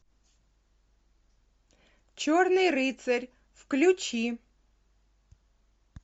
черный рыцарь включи